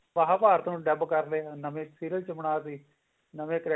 ਮਹਾਂਭਾਰਤ ਨੂੰ ਡੱਬ ਕਰਕੇ ਨਵੇਂ serial ਚ ਬਣਾਤੀ